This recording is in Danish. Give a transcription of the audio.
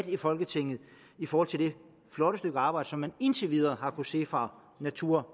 i folketinget i forhold til det flotte stykke arbejde som man indtil videre har kunnet se fra natur